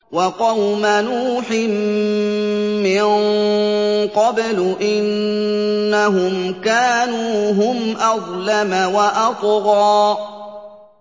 وَقَوْمَ نُوحٍ مِّن قَبْلُ ۖ إِنَّهُمْ كَانُوا هُمْ أَظْلَمَ وَأَطْغَىٰ